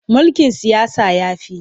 Mulkin siyasa ya fi.